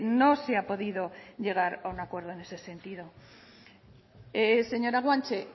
no se ha podido llegar a un acuerdo en ese sentido señora guanche